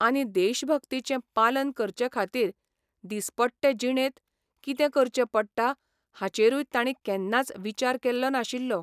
आनी देशभक्तीचें पालन करचे खातीर दिसपट्टे जिणेंत कितें करचें पडटा हाचेरूय तांणी केन्नाच विचार केल्लो नाशिल्लो.